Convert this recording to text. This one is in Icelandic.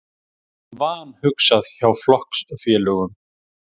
Vanhugsað hjá flokksfélögum